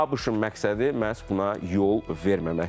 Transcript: ABŞ-ın məqsədi məhz buna yol verməməkdir.